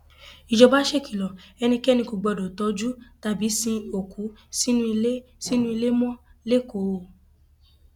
ìjọba ṣèkìlọ ẹnikẹni kò gbọdọ tọjú tàbí sin òkú sínú ilé sínú ilé mọ lẹkọọ o